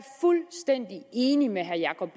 fuldstændig enig med herre jacob